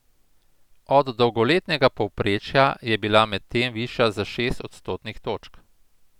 Od dolgoletnega povprečja je bila medtem višja za šest odstotnih točk.